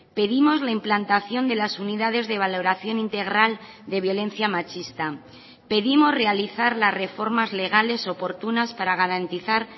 pedimos la implantación de las unidades de valoración integral de violencia machista pedimos realizar las reformas legales oportunas para garantizar